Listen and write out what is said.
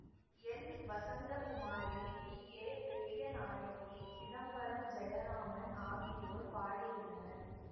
L Vasanthakumari P A Periyanayaki Chidambaram Jayaraman ஆகியோர் பாடியுள்ளனர்